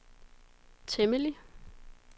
temmelig